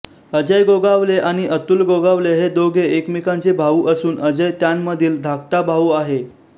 अजय गोगावले आणि अतुल गोगावले हे दोघे एकमेकांचे भाऊ असून अजय त्यांमधील धाकटा भाऊ आहे